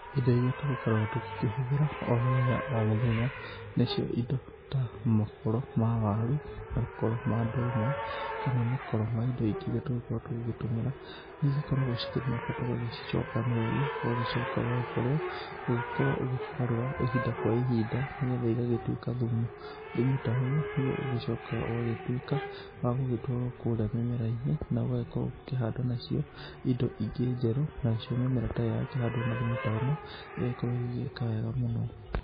Indo iria tũgĩkoragwo tũkĩhũthĩra o mũthenya o mũthenya nĩcio indo ta makoro ma waru makoro ma ndũma kana makoro ma indo ingĩ iria tũngĩgĩkorwo tũgĩgĩtũmĩra nĩ ikoragwo na bata ũgagĩkorwo ũgĩcicokanĩrĩria. Ũgacoka ũgakorwo ũgĩkorwo ũgĩkĩgarũra ihinda kwa ihinda nĩ getha igagĩtuĩka thumu. Thumu ta ũyũ nĩguo ũgĩgĩcokaga ũgagĩtuĩka wa gũgĩtwarwo kũrĩa mĩmera-inĩ, na ũgagĩkorwo ũgĩkĩhanda nacio indo ingĩ njerũ nacio mĩmera ta ĩyo yakĩhandwo na thumu ta ĩno ĩgagĩkorwo igĩgĩka wega mũno.